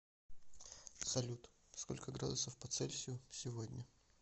салют сколько градусов по цельсию сегодня